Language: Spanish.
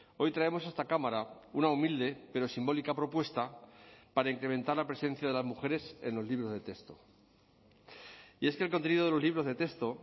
hoy traemos a esta cámara una humilde pero simbólica propuesta para incrementar la presencia de las mujeres en los libros de texto y es que el contenido de los libros de texto